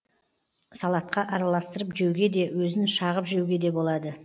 салатқа араластырып жеуге де өзін шағып жеуге де болады